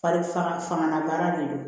Fari faga fangabaara de don